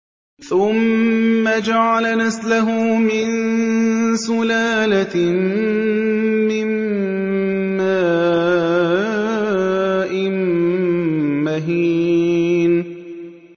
ثُمَّ جَعَلَ نَسْلَهُ مِن سُلَالَةٍ مِّن مَّاءٍ مَّهِينٍ